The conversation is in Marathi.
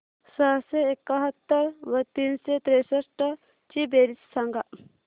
सहाशे एकाहत्तर व तीनशे त्रेसष्ट ची बेरीज सांगा